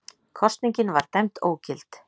Kosningin var dæmd ógild